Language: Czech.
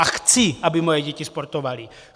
A chci, aby moje děti sportovaly.